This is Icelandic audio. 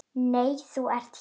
Nei, þú hér?